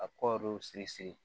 A kɔɔri siri